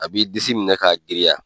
A b'i disi minɛ k'a giriya.